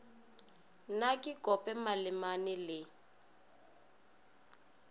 na ke kope malemane le